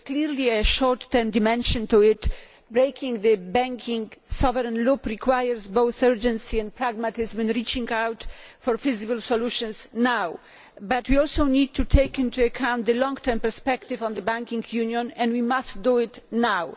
There is clearly a short term dimension to it. Breaking the banking sovereign loop requires both urgency and pragmatism and reaching out for visible solutions now. But we also need to take into account the long term perspective on the banking union, and we must do it now.